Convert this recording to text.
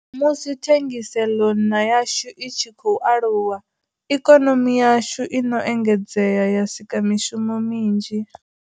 Musi thengiseḽonna yashu i tshi khou aluwa, ikonomi yashu i no engedzea ya sika mishumo minzhi.